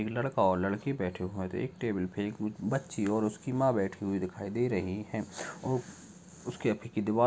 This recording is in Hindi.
एक लड़का और लड़की बैठे हुए हैं तो एक टेबल पर बच्ची और उसकी मां बैठी हुई दिखाई दे रही हैं। और उसके अभी की दीवाल --